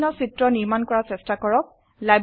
বিভিন্ন চিত্ৰ নিৰ্মাণ কৰা চেষ্টা কৰক